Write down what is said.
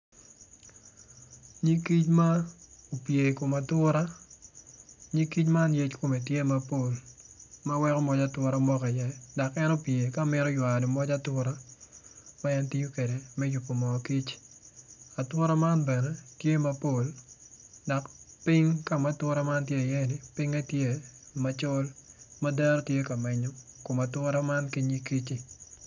Nyig kic ma opye I kom atura nyig kic man yec kome tye mapol ma weko moc atura moko iye dok en opye ka mito ywayo moc atura ma en tiyo kwede me yubo moo kic atura man bene tye mapol dok pony ka ma atura tye iye pinye tye macol ma deeo tye ka menyo kom atua man ki nyig kiccu.